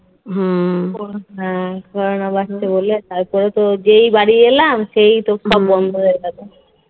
corona বাড়ছে বলে তারপরে তো যেই বাড়ি এলাম সেই তো সব বন্ধ হয়ে গেল